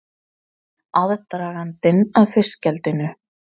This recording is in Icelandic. Aðdragandinn að fiskeldinu